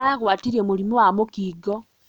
Aragwatirio mũrimũ wa mũkingo